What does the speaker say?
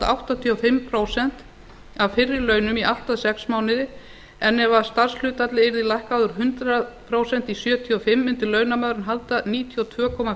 áttatíu og fimm prósent af fyrri launum í allt að sex mánuði en ef starfshlutfallið yrði lækkað úr hundrað prósent í sjötíu og fimm prósent mundi launamaðurinn halda níutíu og tvö og